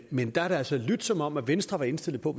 men der har det altså lydt som om venstre var indstillet på